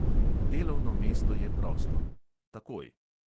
Delovno mesto je prosto: takoj.